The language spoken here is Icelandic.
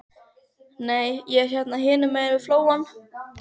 Nei, ég er hérna hinum megin við flóann.